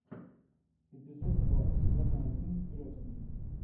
эпизод два сезона один крестный